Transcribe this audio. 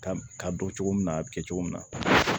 Ka ka bɔ cogo min na a bi kɛ cogo min na